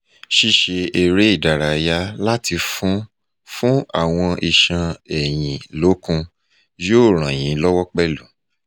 ṣíṣe eré ìdárayá láti fún fún awọn iṣan ẹ̀yìn lókun yóò ran yín lọ́wọ́ pẹ̀lú